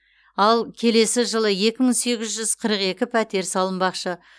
ал келесі жылы екі мың сегіз жүз қырық екі пәтер салынбақшы